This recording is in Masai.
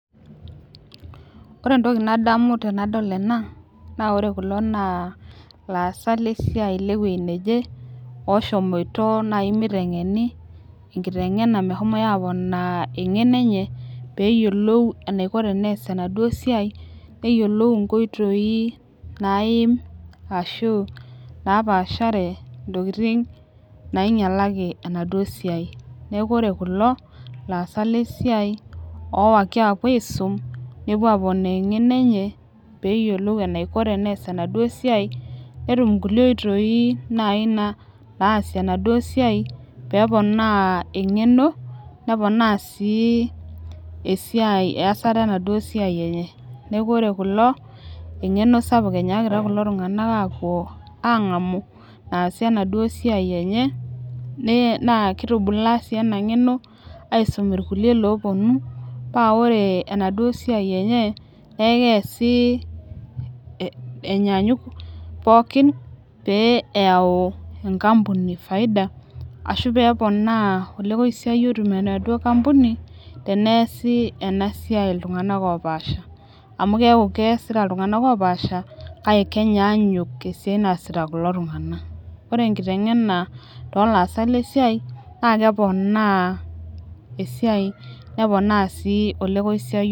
Ore entoki nadamu tenadol ena. naa ore kulo naa ilaasak le siai le wueji neje. looshomoito naaji nitengeni enkiteng' ena mehomoi aponaa eng'eno enye. pee eyiolou enaiko tenees enaduoo siai. neyiolou inkoitoi naaim ashu napaashare ntokitin naingialaki enaduoo siai. neeku ore kulo laasak lesiai loowaiki aapuo aisum, neepuo aponaa eng'eno enye pee eyiolou eneiko tenepuoi aponaa enaduoo siai. netum nkulie oitoi naaji naasie enaduoo siai. pee eponaa eng'eno. neponaa sii esiai .eyasata enaduo siai enye. neeku ore kulo engeno sapuk enyaakita kulo tunganak aapuo aangamu naasie enaduoo siai enye. nss kitubulaa sii ena ng'eno. aisum irkulie loopuonu paa ore enaduoo siai enye. neeku keesi enyaanyuk pookin. pee eyau enkampuni faida. ashu peeponaa olekosiayio itum enaduoo kampuni teneeku enasiai iltunganak opaasha. amu keeku keesita iltunganak oopasha. kake keenyaanyuk esiai naasita kulo tunganak. ore enkiteng'ena toolaasak le siai naa keponaa esiai neponaa sii olekosiayio.